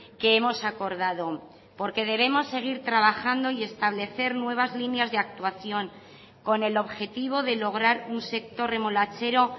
que hemos acordado porque debemos seguir trabajando y establecer nuevas líneas de actuación con el objetivo de lograr un sector remolachero